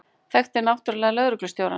Þekkti náttúrlega lögreglustjórann.